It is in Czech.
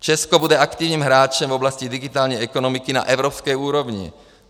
Česko bude aktivním hráčem v oblasti digitální ekonomiky na evropské úrovni.